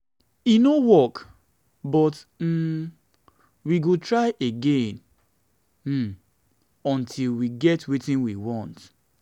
e no work no work but um we go try again um until we get wetin we want.